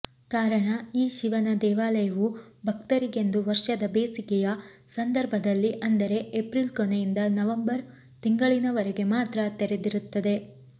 ಕಾರಣ ಈ ಶಿವನ ದೇವಾಲಯವು ಭಕ್ತರಿಗೆಂದು ವರ್ಷದ ಬೇಸಿಗೆಯ ಸಂದರ್ಭದಲ್ಲಿ ಅಂದರೆ ಏಪ್ರಿಲ್ ಕೊನೆಯಿಂದ ನವಂಬರ್ ತಿಂಗಳಿನವರೆಗೆ ಮಾತ್ರ ತೆರೆದಿರುತ್ತದೆ